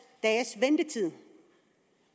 dages ventetid